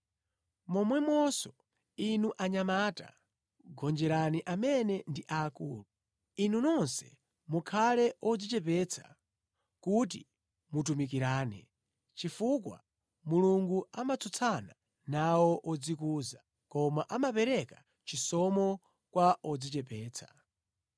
Momwemonso, inu anyamata gonjerani amene ndi akulu. Inu nonse mukhale odzichepetsa kuti mutumikirane, chifukwa, “Mulungu amatsutsana nawo odzikuza, koma amapereka chisomo kwa odzichepetsa.”